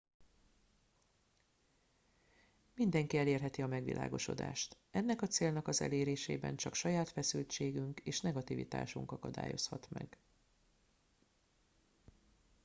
mindenki elérheti a megvilágosodást ennek a célnak az elérésében csak saját feszültségünk és negativitásunk akadályozhat meg